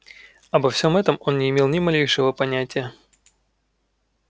обо всем этом он не имел ни малейшего понятия